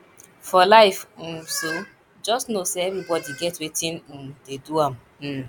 for life um so jus no sey evribodi get wetin um dey do am um